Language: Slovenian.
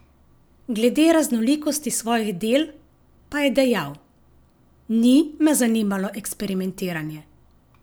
Glede raznolikosti svojih del, pa je dejal: "Ni me zanimalo eksperimentiranje.